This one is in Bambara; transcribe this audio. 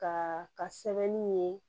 Ka ka sɛbɛnni ye